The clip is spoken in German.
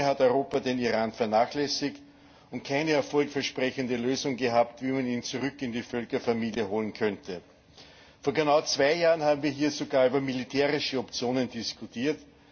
Zu lange hat Europa den Iran vernachlässigt und keine erfolgversprechende Lösung gehabt, wie man ihn zurück in die Völkerfamilie holen könnte. Vor genau zwei Jahren haben wir hier sogar über militärische Optionen diskutiert.